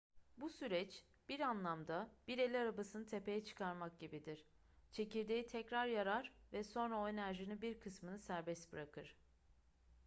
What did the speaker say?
bu süreç bir anlamda bir el arabasını tepeye çıkarmak gibidir çekirdeği tekrar yarar ve sonra o enerjinin bir kısmını serbest bırakır